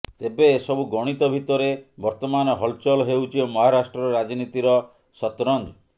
ତେବେ ଏ ସବୁ ଗଣିତ ଭିତରେ ବର୍ତ୍ତମାନ ହଲଚଲ ହେଉଛି ମହାରାଷ୍ଟ୍ର ରାଜନୀତିର ସତରଞ୍ଜ